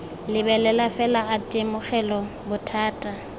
lebelela fela a itemogela bothata